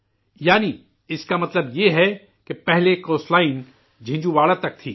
یعنی اسکا مطلب یہ ہے کہ پہلے ساحلی پٹی جنجھوواڑا تک تھی